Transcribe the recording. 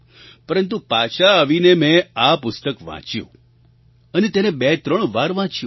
પરંતુ પાછા આવીને મેં આ પુસ્તક વાંચ્યું અને તેને બેત્રણ વાર વાંચ્યું